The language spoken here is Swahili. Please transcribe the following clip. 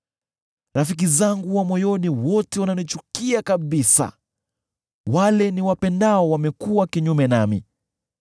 Rafiki zangu wa moyoni wote wananichukia kabisa; wale niwapendao wamekuwa kinyume nami.